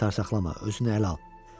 Çar saxlama, özünü ələ al.